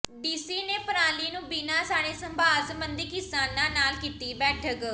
DC ਨੇ ਪਰਾਲੀ ਨੂੰ ਬਿਨਾਂ ਸਾੜੇ ਸੰਭਾਲ ਸਬੰਧੀ ਕਿਸਾਨਾਂ ਨਾਲ ਕੀਤੀ ਬੈਠਕ